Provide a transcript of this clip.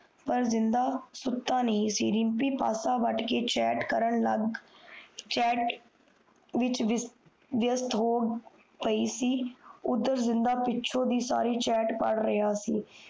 ਆਪਣੀ ਘਾਰਆਲੀ ਉਸ ਨੂੰ ਕੋਈ ਹਾਰ ਕੋਈ ਨਹੀਂ ਸੀ